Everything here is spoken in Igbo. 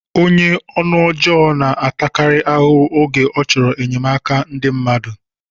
Onye ọnụ ọjọọ na-atakarị ahụhụ oge ọ chọrọ enyemaka ndị mmadụ